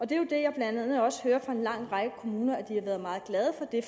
det er jo det jeg blandt andet også hører fra en lang række kommuner har været meget glade for det